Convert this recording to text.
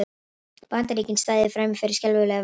Bandaríkin stæðu frammi fyrir skelfilegu vandamáli